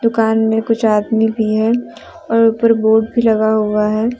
दुकान में कुछ आदमी भी है और ऊपर बल्ब जला हुआ है।